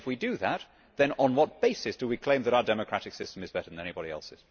If we do that, then on what basis do we claim that our democratic system is better than anybody else's?